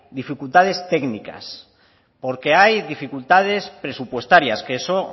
dificultades técnicas porque hay dificultades presupuestarias que eso